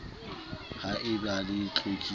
ha e ba le tlokotsi